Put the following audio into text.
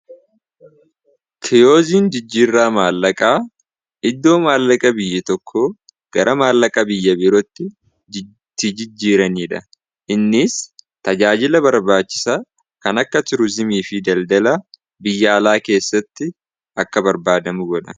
keyoziin jijjiirraa maallaqaa iddoo maallaqa biyya tokko gara maallaqaa biyya birootti tijijjiiranii dha innis tajaajila barbaachisa kan akka tiruzimii fi daldala biyyaalaa keessatti akka barbaadamu godha